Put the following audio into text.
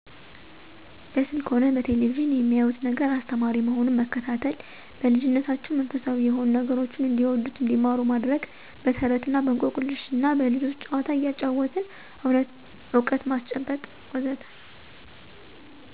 በስልክ ሆነ በቴሌቪዥን የሚያዩት ነገር አስተማሪ መሆኑን መከታተል። በልጂነታቸው መንፈሳዊ የሆኑ ነገሮችን እንዲወዱት እንዲማሩት ማድረግ። በተረት እና በእንቆቅልሽ እና በልጆች ጨዋታ እያጫወትን እውቀት ማስጨበጥ.. ወዘተ